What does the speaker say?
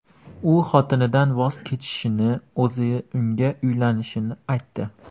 U xotinidan voz kechishini, o‘zi unga uylanishini aytdi.